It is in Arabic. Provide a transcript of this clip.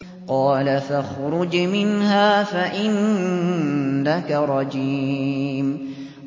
قَالَ فَاخْرُجْ مِنْهَا فَإِنَّكَ رَجِيمٌ